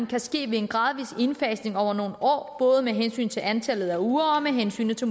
kan ske ved en gradvis indfasning over nogle år både med hensyn til antallet af uger og med hensyn til